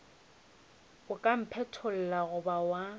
o ka mphetlolla goba wa